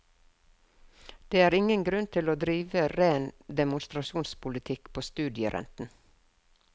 Det er ingen grunn til å drive ren demonstrasjonspolitikk på studierenten.